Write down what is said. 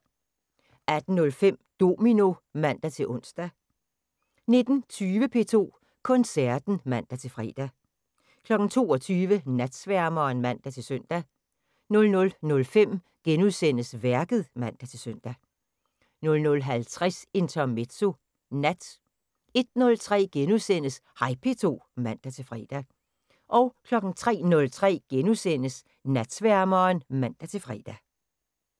18:05: Domino (man-ons) 19:20: P2 Koncerten (man-fre) 22:00: Natsværmeren (man-søn) 00:05: Værket *(man-søn) 00:50: Intermezzo (nat) 01:03: Hej P2 *(man-fre) 03:03: Natsværmeren *(man-fre)